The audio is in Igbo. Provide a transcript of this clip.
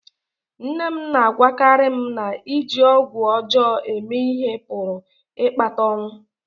Nne m na-agwakarị m na iji ọgwụ ọjọọ eme ihe pụrụ ịkpata ọnwụ